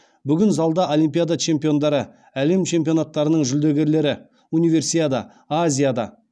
бүгін залда олимпиада чемпиондары әлем чемпионаттарының жүлдегерлері универсиада азиада